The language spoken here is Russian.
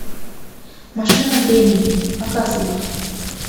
машина времени показывай